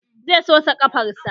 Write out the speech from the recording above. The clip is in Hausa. Zai sosa ƙafarsa